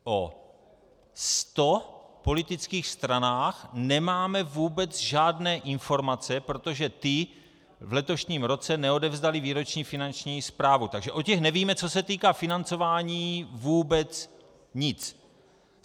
O 100 politických stranách nemáme vůbec žádné informace, protože ty v letošním roce neodevzdaly výroční finanční zprávu, takže o těch nevíme, co se týká financování, vůbec nic.